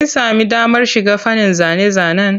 Kin sami damar shiga fannin zane-zanen?